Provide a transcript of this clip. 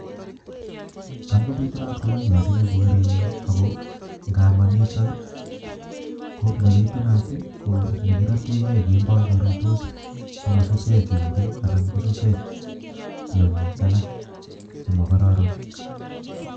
tam kobitunat koroii misssing eng korenyuu ago nemanitak koo nebitubat ko negirategee kemboi kerutos si masusech umbuu ana kosuschek tyongik allak che makararan